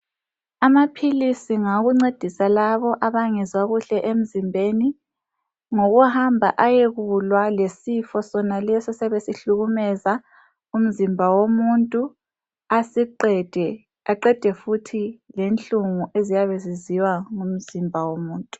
Amaphilisi ngawokuncedisa labo abangezwa kuhle emzimbeni ngokuhamba ayekulwa lesifo sonaleso esiyabe sihlukumeza umzimba womuntu asiqede, aqede futhi lenhlungu eziyabe ziziwa ngumzimba womuntu.